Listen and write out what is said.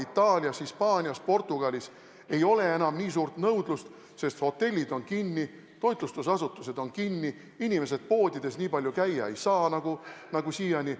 Itaalias, Hispaanias, Portugalis ei ole enam nii suurt nõudlust, sest hotellid on kinni, toitlustusasutused on kinni, inimesed poodides nii palju käia ei saa nagu siiani.